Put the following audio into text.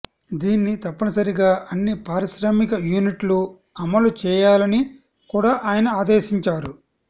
దీన్ని తప్పనిసరిగా అన్ని పారిశ్రామిక యూనిట్లు అమలు చేయాలని కూడా ఆయన ఆదేశించారు